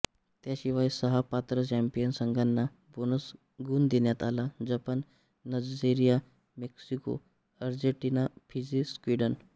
त्याशिवाय सहा पात्र चॅम्पियन संघांना बोनस गुण देण्यात आला Japan Nigeria Mexico Argentina Fiji Sweden